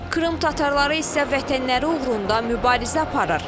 Krım tatarları isə vətənləri uğrunda mübarizə aparır.